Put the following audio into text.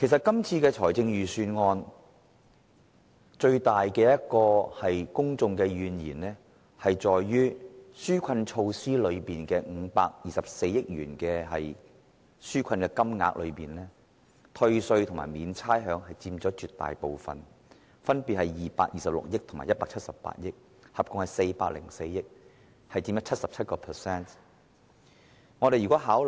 公眾對今年預算案最大的怨言，在於紓困措施涉及的524億元，絕大部分用於寬減稅款及豁免差餉，兩者所佔款額分別是226億元及178億元，合共404億元，佔 77%。